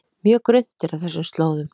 Mjög grunnt er á þessum slóðum